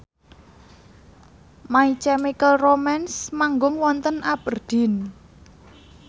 My Chemical Romance manggung wonten Aberdeen